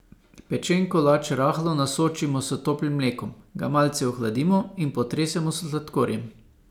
Pečen kolač rahlo nasočimo s toplim mlekom, ga malce ohladimo in potresemo s sladkorjem.